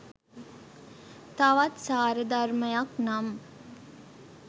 තවත් සාරධර්මයක් නම්